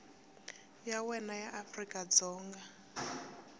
ya wena ya afrika dzonga